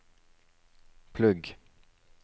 plugg